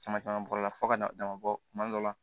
Caman caman bɔra fo ka na dama bɔ kuma dɔ la